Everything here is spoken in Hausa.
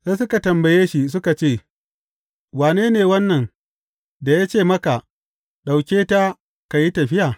Sai suka tambaye shi suka ce, Wane ne wannan da ya ce maka ka ɗauke ta ka yi tafiya?